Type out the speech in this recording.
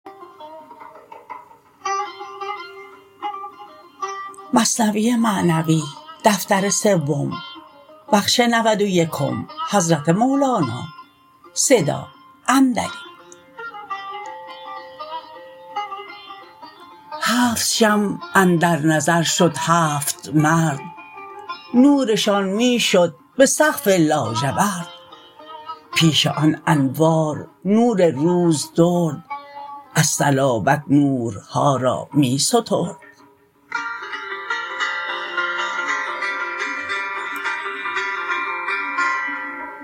هفت شمع اندر نظر شد هفت مرد نورشان می شد به سقف لاژورد پیش آن انوار نور روز درد از صلابت نورها را می سترد